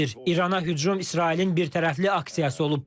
İrana hücum İsrailin birtərəfli aksiyası olub.